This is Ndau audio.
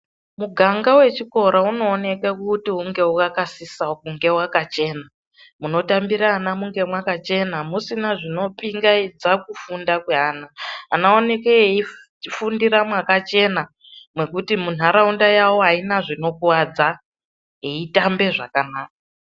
Muganga wechikora unooneka kuti unge wakasisa kunge wakachena. Munotambira ana munge mwakachena, musina zvinopingaidza kufunda kweana. Ana aoneke eifundira mwakachena mwekuti munharaunda yawo haina zvinokuwadza, eitambe zvakanaka.